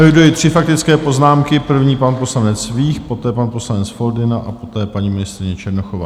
Eviduji tři faktické poznámky - první pan poslanec Vích, poté pan poslanec Foldyna a poté paní ministryně Černochová.